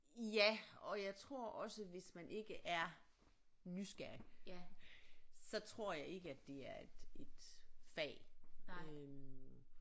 Ja og jeg tror også hvis man ikke er nysgerrig så tror jeg ikke at det er et et fag øh